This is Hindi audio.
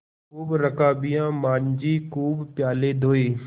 खूब रकाबियाँ माँजी खूब प्याले धोये